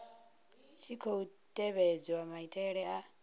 tshi khou tevhedzwa maitele a